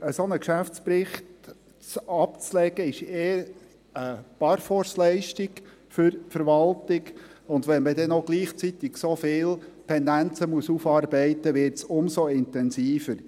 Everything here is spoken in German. Einen solchen Geschäftsbericht abzulegen, ist eh eine Parforceleistung für die Verwaltung, und wenn man dann noch gleichzeitig so viele Pendenzen aufarbeiten muss, wird es umso intensiver.